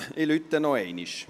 Ich läute nochmals.